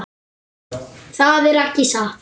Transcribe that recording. Þetta er ekki satt!